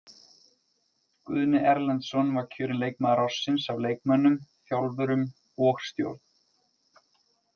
Guðni Erlendsson var kjörinn leikmaður ársins af leikmönnum, þjálfurum og stjórn.